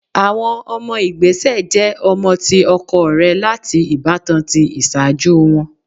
Awọn ọmọ igbesẹ jẹ ọmọ ti ọkọ rẹ lati ibatan ti iṣaaju wọn